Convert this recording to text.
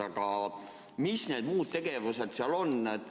Aga mis need muud tegevused seal on?